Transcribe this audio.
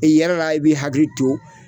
I yɛlɛla i bi hakili to